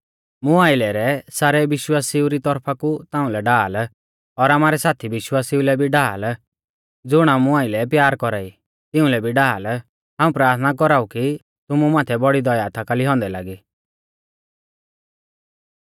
मुं आइलै रै सारै विश्वासिऊ री तौरफा कु ताउंलै ढाल और आमारै साथी विश्वासिऊ लै भी ढाल ज़ुण आमु आइलै प्यार कौरा ई तिउंलै भी ढाल हाऊं प्राथना कौराऊ कि तुमु माथै बौड़ी दया थाकाली औन्दै लागी